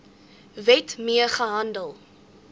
wet mee gehandel